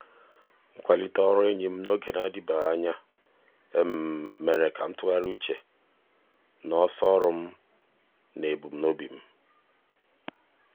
mgbe ụfọdụ m na-ebute ebumnobi um ndị ọzọ izizi um karịa ahụike uche um m na-amaghị ya.